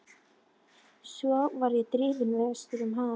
Svo var ég drifinn vestur um haf.